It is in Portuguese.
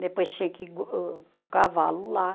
Depois tinha que o cavalo lá.